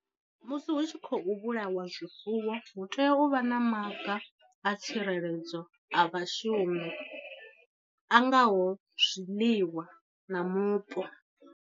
Musi hu tshi khou vhulawa zwifuwo hu tea u vha na maga a tsireledzo a vhashumi a ngaho zwiḽiwa na mupo.